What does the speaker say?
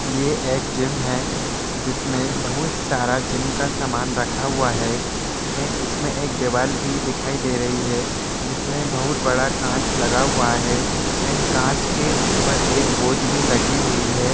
ये एक जिम है जिसमें बहुत सारा जिम का सामान रखा हुआ है एंड इसमें एक दीवाल भी दिखाई दे रही है जिसमें बहुत बड़ा कांच लगा हुआ है एंड कांच के ऊपर एक बोझ भी लगी हुई हैं।